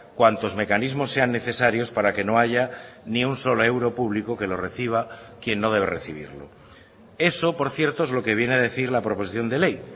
cuantos mecanismos sean necesarios para que no haya ni un solo euro público que lo reciba quien no debe recibirlo eso por cierto es lo que viene a decir la proposición de ley